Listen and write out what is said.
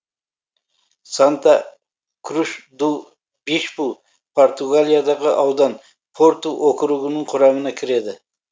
санта круш ду бишпу португалиядағы аудан порту округінің құрамына кіреді